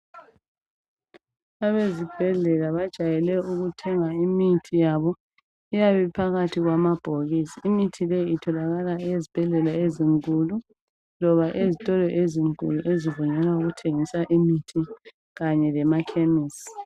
abezibhedlela bajwayele ukuthenga imthi yabo iyabe iphakathi kwama bhokisi imithi le itholakala ezibhedlela ezinkulu loba ezitolo ezinkulu ezibona ngokokuthengisa amaphlisi kanye lama khemisi